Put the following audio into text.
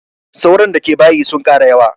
Sauron da ke bayin sun ƙara yawa